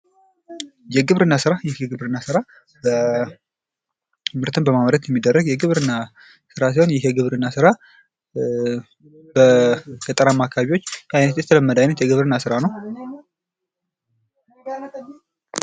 የግብርና ስራ ይህ የግብርና ምርትን በማምረት የሚደረግ የግብርና ሰራ ሲሆን ይህ የግብርና ስራ በገጠራማ አካባቢዋች የተለመደ አይነት የግብርና ስራ ነው።